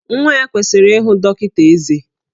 Nwa ya kwesịrị ihụ dọkịta ezé